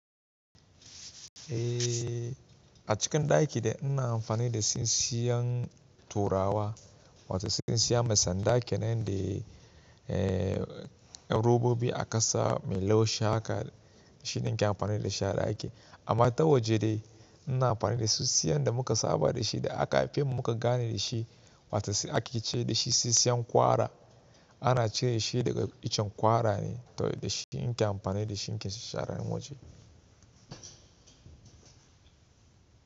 Eh a cikin ɗaki dai ina amfani da sisiyan turawa, wata sisiya mai sanda kenan da eh robobi a ƙasa mai laushi haka shi nake amfani da shi a ɗaki. Amma ta waje dai ina amfani da sisiyan da muka saba da shi da aka haife mu muka gane da shi, wata ake ce dashi sisiyan ƙwara ana cire shi daga icen ƙwara ne toh da shi nake amfani da shi ni ke shara waje.